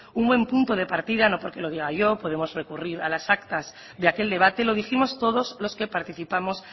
un buen punto de partida no porque lo diga yo podemos recurrir a las actas de aquel debate lo dijimos todos los que participamos